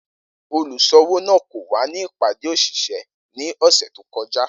Oluṣowo naa ko wa ni ipade oṣiṣẹ ni ọsẹ to kọja.